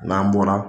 N'an bɔra